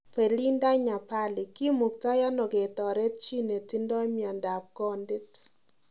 Belinda Nyapali; kimuktai ano ketaret chi netindoi miandap kondit